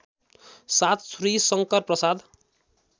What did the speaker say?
७ Shri Shankarprasad